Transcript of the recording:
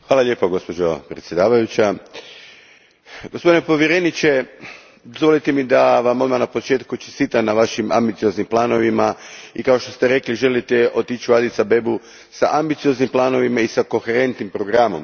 Gospođo predsjednice, gospodine povjereniče, dozvolite mi da vam odmah na početku čestitam na vašim ambicioznim planovima i kao što ste rekli, želite otići u Addis Abebu s ambicioznim planovima i koherentnim programom.